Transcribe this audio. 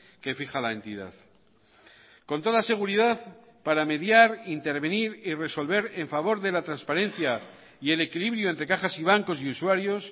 que fija la entidad con toda seguridad para mediar intervenir y resolver en favor de la transparencia y el equilibrio entre cajas y bancos y usuarios